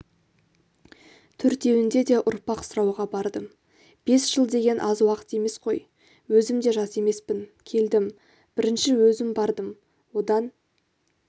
төртеуінде де ұрпақ сұрауға бардым бес жыл деген аз уақыт емес қой өзім де жас емеспін келдім бірінші өзім бардым одан